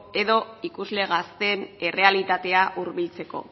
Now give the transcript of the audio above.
edo ikusle gazteen errealitatera hurbiltzeko